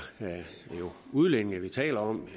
udlændinge vi taler om